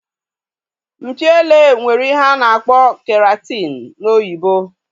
Mpi ele nwere ihe a na-akpọ keratin n'oyibo